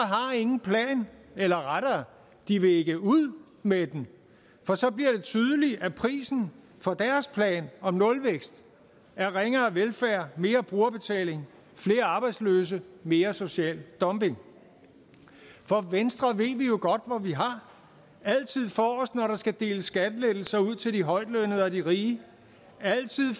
ingen plan eller rettere de vil ikke ud med den for så bliver det tydeligt at prisen for deres plan om nulvækst er ringere velfærd mere brugerbetaling flere arbejdsløse mere social dumping for venstre ved vi jo godt hvor vi har altid forrest når der skal deles skattelettelser ud til de højtlønnede og de rige altid